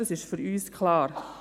Das ist für uns klar.